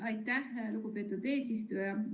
Aitäh, lugupeetud eesistuja!